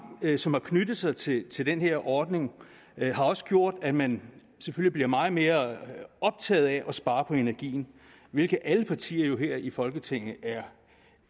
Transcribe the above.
som har knyttet sig til til den her ordning har også gjort at man selvfølgelig er blevet meget mere optaget af at spare på energien hvilket alle partier her i folketinget jo er